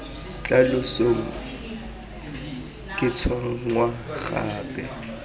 tla losong ke tshwenngwa gape